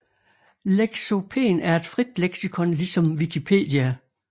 Lexopen er et frit leksikon ligesom Wikipedia